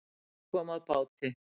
Leki kom að báti